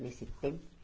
Nesse tempo